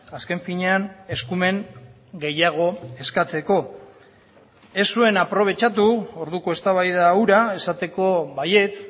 azken finean eskumen gehiago eskatzeko ez zuen aprobetxatu orduko eztabaida hura esateko baietz